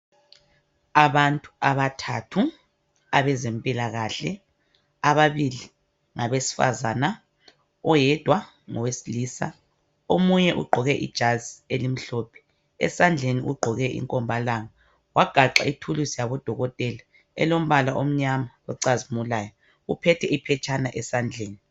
Abantu abathathu abezempilakahle, ababili ngabesifazana oyedwa ngowesilisa ,omunye ugqoke ijazi elimhlophe , esandleni ugqoke inkombalanga wagaxe ithuluzi yabodokotela elombala omnyama ocazimulayo uphethe iphetshana esandleni.